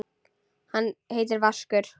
Hann heitir Vaskur.